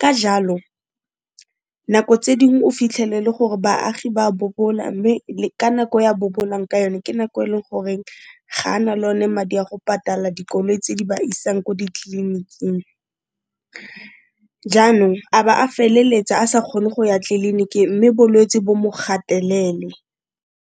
Ka jalo nako tse ding o fitlhele le gore baagi ba bobola mme ka nako ya bobolang ka yone ke nako e leng gore ga a na le o ne madi a go patala dikoloi tse di ba isang ko ditleliniking. Jaanong a ba a feleletsa a sa kgone go ya tliliniki mme bolwetse bo mo gatelele.